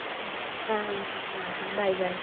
Uh ah ah bye bye .